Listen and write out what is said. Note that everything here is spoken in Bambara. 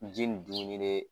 Ji ni dumuni de